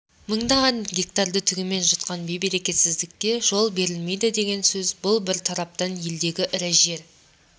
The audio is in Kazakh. мыңдаған гектарды түгімен жұтқан бейберекетсіздікке жол берілмейді деген сөз бұл бір тараптан елдегі ірі жер